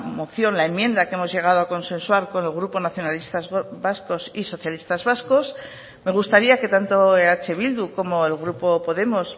moción la enmienda que hemos llegado a consensuar con el grupo nacionalistas vascos y socialistas vascos me gustaría que tanto eh bildu como el grupo podemos